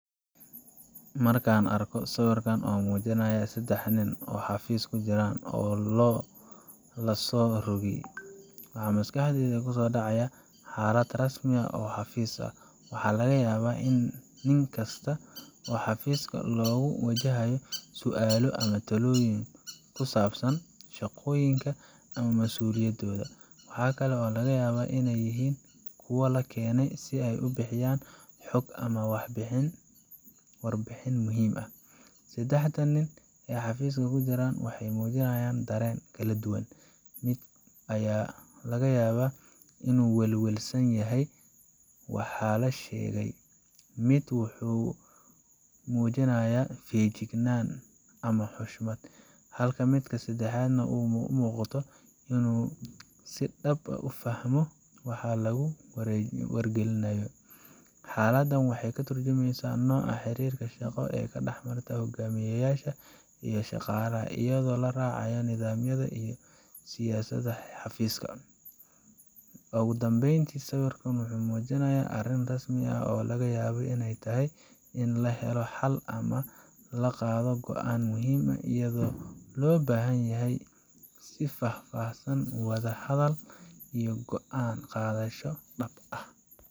Marka aan arko sawirkan oo muujinaya saddex nin oo xafiis ku jira oo la soo rogay, waxa maskaxdayda ku soo dhacaya xaalad rasmi ah oo xafiis. Waxaa laga yaabaa in nin kasta oo xafiiska jooga uu wajahayo su'aalo ama talooyin ku saabsan shaqooyinka ama masuuliyadooda. Waxa kale oo laga yaabaa in ay yihiin kuwo la keenay si ay u bixiyaan xog ama warbixin muhiim ah. Saddexda nin ee xafiiska ku jira waxay muujinayaan dareen kala duwan mid ayaa laga yaabaa inuu ka welwelsan yahay waxa la sheegay, mid kale wuxuu muujinayaa feejignaan ama xushmad, halka midka saddexaad uu u muuqdo inuu si dhab ah u fahmo waxa lagu wargelinayo. Xaaladdan waxay ka turjumaysaa nooca xiriirka shaqo ee dhex mara hogaamiyayaasha iyo shaqaalaha, iyadoo la raacayo nidaamyada iyo siyaasadaha xafiiska. ugudhambeyn, sawirkan wuxuu muujinayaa arrin rasmi ah oo laga yaabo in ay tahay in la helo xal ama la qaado go’aan muhiim ah, iyadoo loo baahan yahay isfaham, wada hadal, iyo go’aan qaadasho dhab ah.